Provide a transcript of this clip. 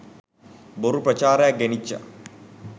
බොරු ප්‍රචාරයක් ගෙනිච්චා.